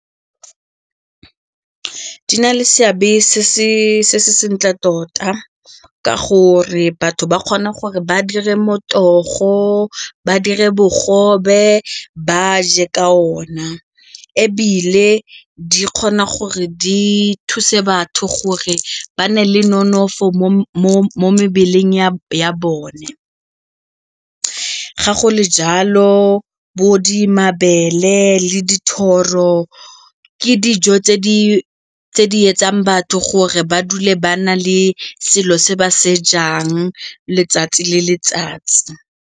Di na le seabe se se ntle tota ka gore batho ba kgone gore ba dire motogo, ba dire bogobe ba je ka ona ebile di kgona gore di thuse batho gore ba nne le nonofo mo mebeleng ya bone. Ga go le jalo mabele le dithoro ke dijo tse di etsang batho gore ba dule ba na le selo se ba se jang letsatsi le letsatsi.